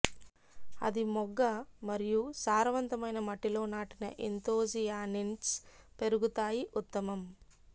అది మొగ్గ మరియు సారవంతమైన మట్టి లో నాటిన ఎంతోసియానిన్స్ పెరుగుతాయి ఉత్తమం